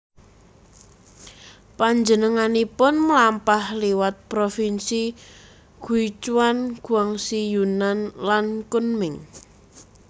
Panjenenganipun mlampah liwat provinsi Guichuan Guangxi Yunnan lan Kunming